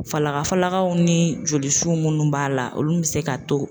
Falaka falakaw ni jolisu munnu b'a la olu mi se ka to